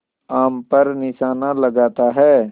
आम पर निशाना लगाता है